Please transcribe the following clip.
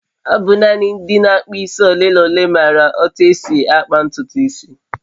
ọ bụ nanị ndị na-akpụ isi ole na ole maara otú e si akpa ntutu isi